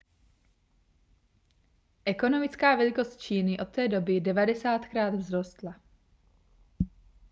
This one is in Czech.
ekonomická velikost číny od té doby 90krát vzrostla